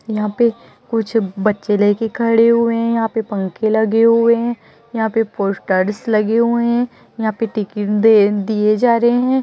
यहाँ पे कुछ बच्चे ले के खड़े हुए है यहाँ पे पंखे लगे हुए है यहाँ पे पोस्टर्स लगे हुए है यहाँ पे टिकट दे दिए जा रहे है।